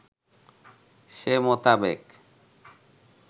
সে মোতাবেক